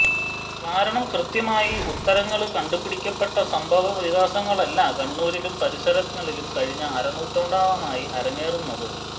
കാരണം കൃത്യമായി ഉത്തരങ്ങള് കണ്ടുപിടിക്കപ്പെട്ട സംഭവവികാസങ്ങളല്ല കണ്ണൂരിലും പരിസരങ്ങളിലും കഴിഞ്ഞ അരനൂറ്റാണ്ടോളമായി അരങ്ങേറുന്നത്